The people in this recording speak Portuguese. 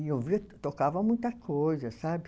E ouvia, tocava muita coisa, sabe?